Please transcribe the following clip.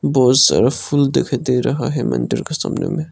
बहुत सारा फूल दिखाई दे रहा है मंदिर का सामने में--